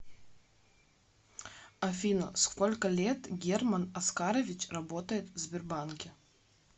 афина сколько лет герман оскарович работает в сбербанке